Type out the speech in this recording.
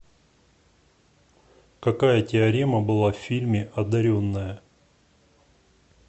какая теорема была в фильме одаренная